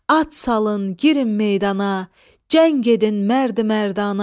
At salın, girin meydana, cəng edin mərdi-mərdana.